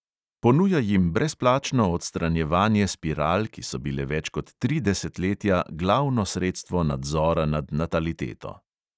Ponuja jim brezplačno odstranjevanje spiral, ki so bile več kot tri desetletja glavno sredstvo nadzora nad nataliteto.